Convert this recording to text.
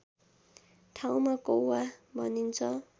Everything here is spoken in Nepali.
ठाउँमा कौवा भनिन्छ